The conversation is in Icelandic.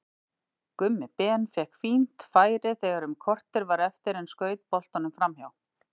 Gummi Ben fékk fínt færi þegar um korter var eftir en skaut boltanum framhjá.